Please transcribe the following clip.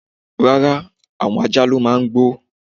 Rara, awon ajá lo màá ń gbó